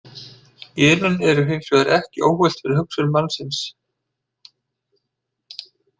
Genin eru hins vegar ekki óhult fyrir hugsun mannsins.